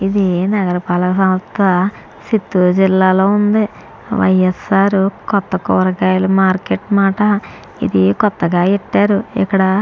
ఇది నగర పాలక సంస్థ చిత్తూర్ జిల్లా లో ఉంది వై.స్.ర్. కొత్త కూరగాయల మార్కెట్ అనమాట ఇది కోతగా ఎట్టారు ఇక్కడ --